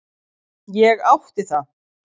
Ég átti það.